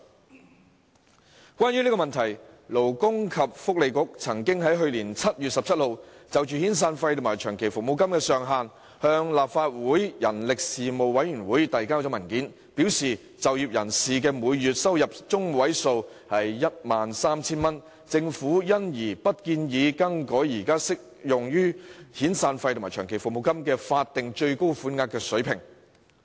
有關這個問題，勞工及福利局在去年7月17日，曾就遣散費及長期服務金的月薪計算上限，向立法會人力事務委員會遞交文件，表示鑒於就業人士的月薪中位數為 13,000 元，政府不建議更改現時適用於遣散費及長期服務金的法定最高款額水平。